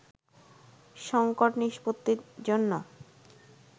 সংকট নিষ্পত্তির জন্য